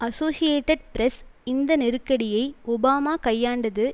associated Press இந்த நெருக்கடியை Obama கையாண்டது